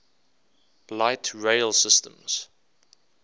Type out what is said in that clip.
light rail systems